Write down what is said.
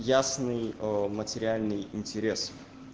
ясный материальный интерес